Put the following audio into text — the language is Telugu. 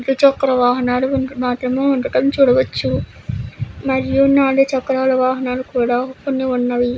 ద్విచక్ర వాహనాలు ఉండడం మాత్రమే చూడవచ్చు. మరియు నాలుగు చక్రాల వాహనాలు కూడా కొన్ని ఉన్నవి.